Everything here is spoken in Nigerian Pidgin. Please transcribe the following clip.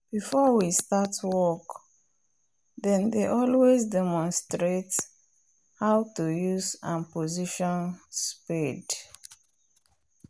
before we start work then dey always demonstrate how to use and position spade.